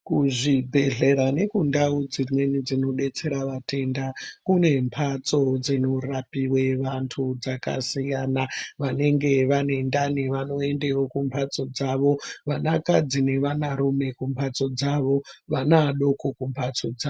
Kuzvibhedhlera nekundau dzimweni dzinodetserwa vaenda kune mhatso dzinorapiwe vantu dzakasiyana. Vanenge vanendani vanoendewo kumhatso dzavo, vanakadzi nevanarume kumhatso dzavo, vanadoko kumhatso dzavo.